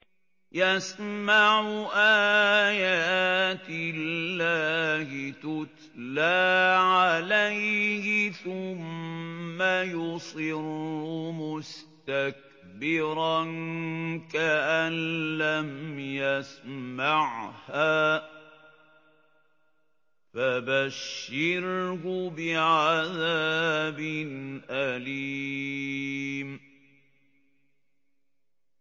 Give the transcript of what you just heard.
يَسْمَعُ آيَاتِ اللَّهِ تُتْلَىٰ عَلَيْهِ ثُمَّ يُصِرُّ مُسْتَكْبِرًا كَأَن لَّمْ يَسْمَعْهَا ۖ فَبَشِّرْهُ بِعَذَابٍ أَلِيمٍ